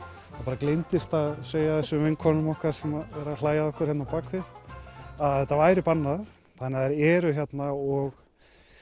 það gleymdist að segja þessum vinkonum okkar sem eru að hlæja að okkur hérna bak við að þetta væri bannað þannig þær eru hérna og